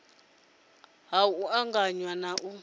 si ha u anganya na